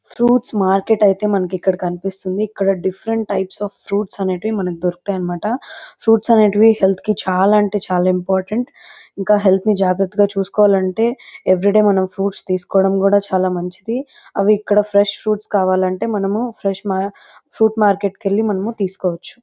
Fruits market అయితే మనకు ఇక్కడ కనిపిస్తుంది ఇక్కడ డిఫరెంట్ టైప్స్ అఫ్ ఫ్రూప్ట్స్ అనేటివి మనకు దొరుకుతాయి అన్నమాట ఫ్రూప్ట్స్ అనేటివి హెల్త్ కి చాల అంటే చాల ఇంపార్టెంట్ ఇంకా హెల్త్ ని మనం జాగ్రత్తగా చుస్కువలెనంటే ఎవరీ డే మనం ఫ్రూప్ట్స్ తీసుకోవడం చాల మంచిది అవీ ఇక్కడ ఫ్రెస్ప్ ఫ్రూప్ట్స్ కావాలంటే మనము ఫ్రెష్ మా ఫ్రూప్ట్స్ మార్కెట్ కి వెళ్లి తీసుకోవచ్చు.